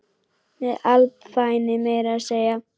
Með alvæpni meira að segja!